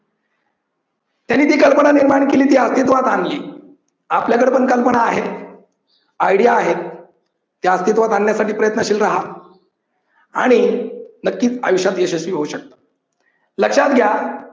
त्यांनी ती कल्पना निर्माण केली. ती अस्तित्वात आणली. आपल्याकडे पण कल्पना आहेत, आयडिया आहेत, त्या अस्तित्वात आणण्यासाठी प्रयत्नशील राहा. आणि नक्कीच आयुष्यात यशस्वी होऊ शकता. लक्षात घ्या